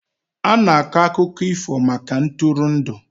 A na-akọ akụkọ ifo maka ntụrụndụ.